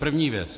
První věc.